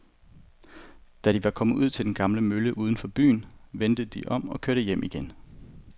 Da de var kommet ud til den gamle mølle uden for byen, vendte de om og kørte hjem igen.